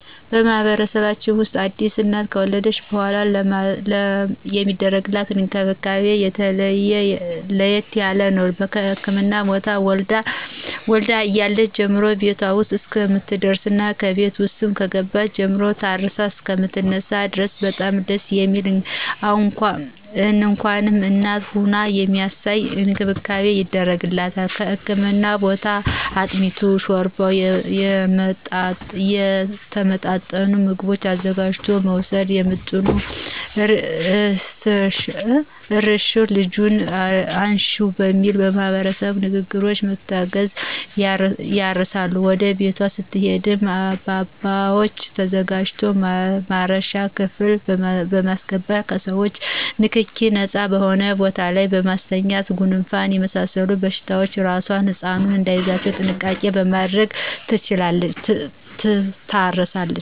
በማህበረሰባችን ውስጥ አዲስ እናት ከወለደች በሗላ የሚደረግላት እንክብካቤ ለየት ያለ ነው። ከህክምና ቦታ ወልዳ እያለች ጀምሮ ቤቷ ውስጥ እስከምትደርስና ከቤት ውስጥም ከገባች ጀምሮ ታርሳ እሰከምትነሳ ድረስ በጣም ደስ የሚል እንኳንም እናት ሆንሁ የሚያሰኝ እንክብካቤ ይደረግላታል ከህክምና ቦታ አጥሚቱን: ሾርባውና የተመጣጠኑ ምግቦችን አዘጋጅቶ በመወሰድ ምጡን እርሽው ልጁን አንሽው በሚል ማህበረሰባዊ ንግግሮች በመታገዝ ያርሳሉ ወደ ቤቷ ስትሄድም አበባዎች ተዘጋጅተው ማረሻ ክፍል በማሰገባት ከሰዎቾ ንክኪ ነጻ በሆነ ቦታ ላይ በማስተኛት ጉንፋንና የመሳሰሉት በሽታዎች አራሷና ህጻኑ እዳይያዙ ጥንቃቄ በማድረግ ትታረሳለች።